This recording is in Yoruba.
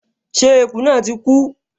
Ṣé eku náà ti kú?